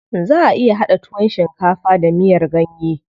Zaʼa iya haɗa tuwon shinkafa da miyar ganye.